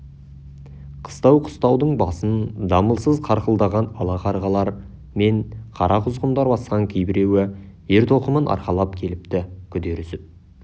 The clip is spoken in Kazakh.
қыстау-қыстаудың басын дамылсыз қарқылдаған ала қарғалар мен қара құзғындар басқан кейбіреуі ер-тоқымын арқалап келіпті күдер үзіп